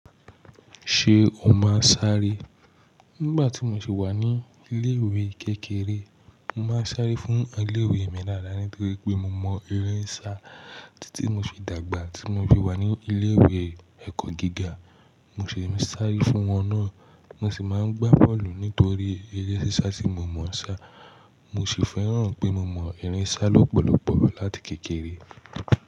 Ṣé o máa ń sáré? Nígbà tí mo ṣi wà ní ilé-ìwé kékeré, mo máa ń sáré fún ilé-ìwé mi dáadáa nítorí pé mo mọ eré ń sá títí mo ṣe dàgbà. Tí mo fi wà ní ilé-ìwé ẹ̀kọ́ gíga mo sì ń sáré fún wọn náà. Mo sì máa ń gbá bọ́ọ̀lù nítorí eré sísá tí mo mọ̀ ń sá. Mo sì fẹ́ràn pé mo mọ eré ń sá lọ́pọ̀lọpọ̀ láti kékeré.